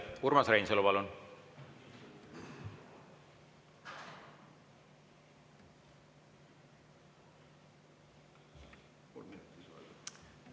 Urmas Reinsalu, palun!